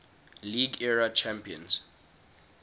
league era champions